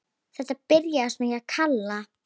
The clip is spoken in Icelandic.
Þetta byrjaði svona hjá Kalla.